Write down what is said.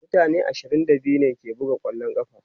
mutane ashirin da biyu ne ke buga kwallon ƙafa